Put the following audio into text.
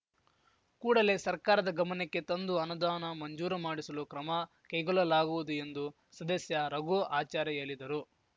ಕೂಡಲೇ ಸರ್ಕಾರದ ಗಮನಕ್ಕೆ ತಂದು ಅನುದಾನ ಮಂಜೂರು ಮಾಡಿಸಲು ಕ್ರಮ ಕೈಗೊಲ್ಲಲಾಗುವುದು ಎಂದು ಸದಸ್ಯ ರಘುಆಚಾರ್‌ ಹೇಲಿದರು